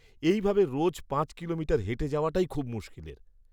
এই ভাবে রোজ পাঁচ কিলোমিটার হেঁটে যাওয়াটাই খুব মুশকিলের।